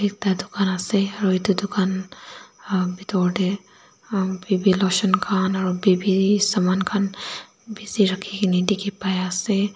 ekta dukan asa aru etu dukan bithor tae baby lotion khan aru baby saman khan beshi rakhina dekhi pai ase.